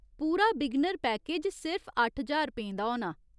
पूरा beginner package सिर्फ अट्ठ ज्हार रपेंऽ दा होना।